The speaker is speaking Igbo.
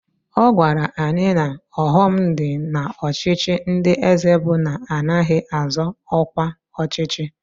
Ọ gwara anyị na ọghọm dị n'ọchịchị ndị eze bụ na anaghị azọ ọkwa ọchịchị